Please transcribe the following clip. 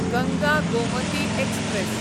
Ganga Gomti express